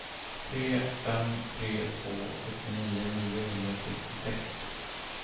tre fem tre två sjuttionio niohundrasextiosex